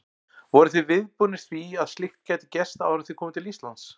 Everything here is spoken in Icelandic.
Voruð þið viðbúnir því að slíkt gæti gerst áður en þið komuð til Íslands?